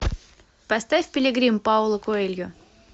поставь пилигрим пауло коэльо